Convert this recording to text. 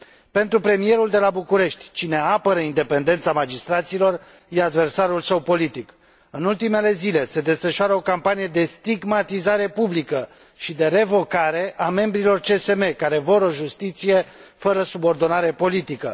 Pentru premierul de la București, cine apără independența magistraților este adversarul său politic. În ultimele zile, se desfășoară o campanie de stigmatizare publică și de revocare a membrilor CSM care vor o justiție fără subordonare politică.